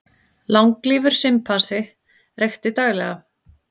Langlífur simpansi reykti daglega